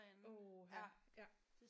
Åh ha ja